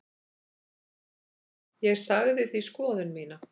Ég sagði því skoðun mína.